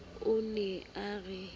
o ne o re o